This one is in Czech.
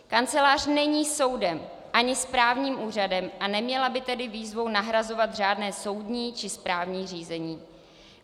Kancelář není soudem ani správním úřadem a neměla by tedy výzvou nahrazovat řádné soudní či správní řízení.